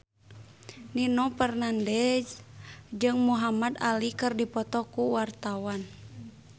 Nino Fernandez jeung Muhamad Ali keur dipoto ku wartawan